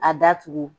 A datugu